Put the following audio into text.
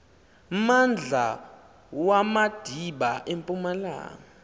mmandla wamadiba empumalanga